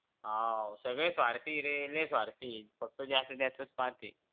आह सगळे स्वार्थी ये लई स्वार्थी फक्त ज्याचं त्याचं पाहतील